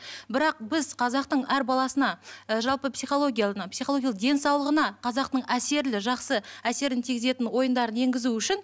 бірақ біз қазақтың әр баласына ы жалпы психологияны психологиялық денсаулығына қазақтың әсерлі жақсы әсерін тигізетін ойындарын енгізу үшін